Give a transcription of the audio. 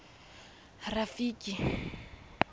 rafiki